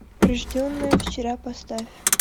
рожденная вчера поставь